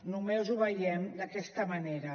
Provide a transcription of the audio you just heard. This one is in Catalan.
només ho veiem d’aquesta manera